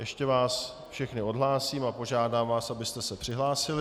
Ještě vás všechny odhlásím a požádám vás, abyste se přihlásili.